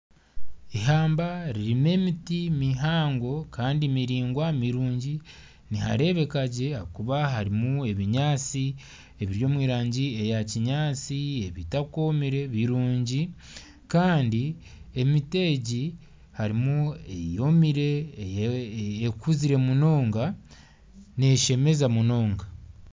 Eihamba ririmu emiti mihango kandi miraingwa mirungi niharebeka gye ahakuba harimu ebinyaatsi ebiri omu rangi eya kinyaatsi ebitakomire birungi Kandi emiti egi harimu eyomire ekuzire munonga neshemeza munonga